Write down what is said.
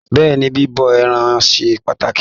Bẹ́ẹ̀ni, bíbọ ẹran ṣe pàtàkì.